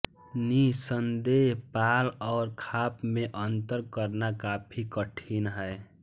निःसन्देश पाल और खाप में अंतर करना काफी कठिन है